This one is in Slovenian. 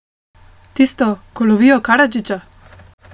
Tisto, ko lovijo Karadžića?